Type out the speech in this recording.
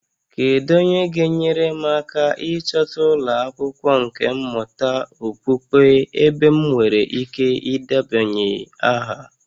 Kedu onye ga-enyere m aka ịchọta ụlọ akwụkwọ nkà mmụta okpukpe ebe m nwere ike ịdebanye aha?